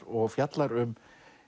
og fjallar um